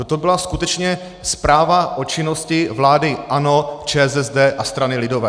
Toto byla skutečně zpráva o činnosti vlády ANO, ČSSD a strany lidové.